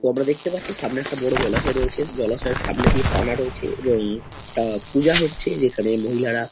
তো আমরা দেখতে পাচ্ছি সামনে একটা বড় জলাশয় রয়েছে। জলাশয়ের সামনে দিয়ে পানা রয়েছে এবং একটা পূজা হচ্ছে যেখানে মহিলারা --